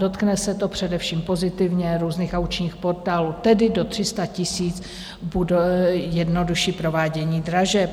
Dotkne se to především pozitivně různých aukčních portálů, tedy do 300 000 bude jednodušší provádění dražeb.